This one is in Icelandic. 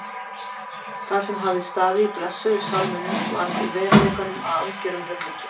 Það sem hafði staðið í blessuðum sálminum varð í veruleikanum að algerum ruglingi.